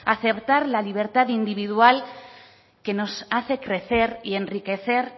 acertar la libertad individual que nos hace crecer y enriquecer